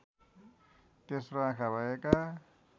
तेस्रो आँखा भएका